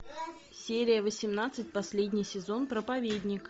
серия восемнадцать последний сезон проповедник